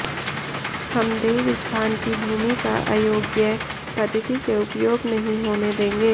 हम देवस्थान की भूमि का अयोग्य पद्धति से उपयोग नहीं होने देंगे